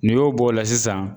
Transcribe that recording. N'i y'o bɔ o la sisan